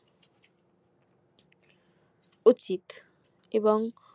উচিত এবং